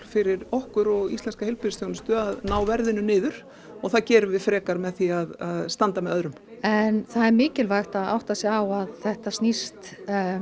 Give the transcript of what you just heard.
fyrir okkur og íslenska heilbrigðisþjónustu að ná verðinu niður og það gerum við frekar með því að standa með öðrum en það er mikilvægt að átta sig á að þetta snýst